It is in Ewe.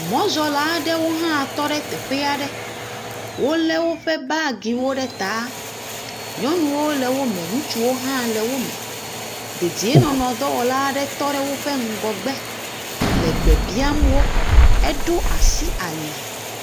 Mɔzɔla aɖewo hã tɔ ɖe teƒe aɖe. Wolé woƒe baagiwo ɖe taa.. Nyɔnuwo le wome, ŋutsuwo hã le wome. Dedienɔnɔdɔwɔla aɖe tɔ ɖe woƒe ŋgɔgbe le gbe biam wo. Eɖo asi ali.